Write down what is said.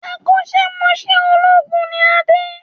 Akọ́sẹ́ mọṣẹ̀ olóògùn ni Adé